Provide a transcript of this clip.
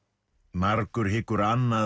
margur hyggur annað